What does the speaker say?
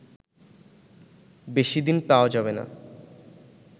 বেশি দিন পাওয়া যাবেনা